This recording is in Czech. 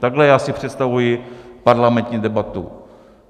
Takhle já si představuji parlamentní debatu.